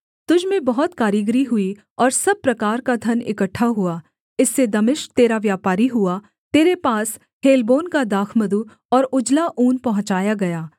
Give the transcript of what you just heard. तुझ में बहुत कारीगरी हुई और सब प्रकार का धन इकट्ठा हुआ इससे दमिश्क तेरा व्यापारी हुआ तेरे पास हेलबोन का दाखमधु और उजला ऊन पहुँचाया गया